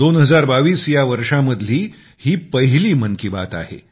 2022 या वर्षामधली ही पहिली मन की बात आहे